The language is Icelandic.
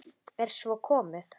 Er svo komið?